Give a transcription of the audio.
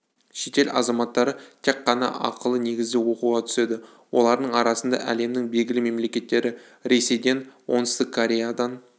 шетел азаматтары тек қана ақылы негізде оқуға түседі олардың арасында әлемнің белгілі мемлекеттері ресейден оңтүстік кореядан